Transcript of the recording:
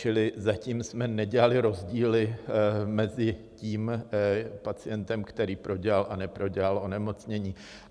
Čili zatím jsme nedělali rozdíly mezi tím pacientem, který prodělal a neprodělal onemocnění.